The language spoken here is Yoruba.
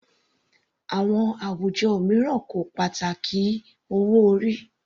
Àwọn àwùjọ mìíràn kò pàtàkì owó orí.